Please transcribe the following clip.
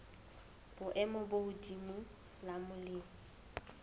boemo bo hodimo la molemi